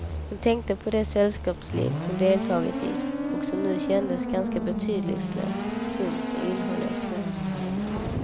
Hon tänkte på det sällskapsliv hon deltagit i och som nu kändes ganska betydelselöst, tomt och innehållslöst.